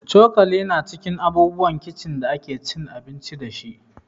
Cokali ma cikin abubuwan kici da ake cin abinci da